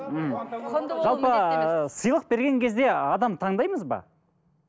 жалпы сыйлық берген кезде адам таңдаймыз ба